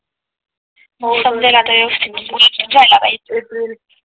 समजेल आता व्यवस्थित झाला पाहिजे.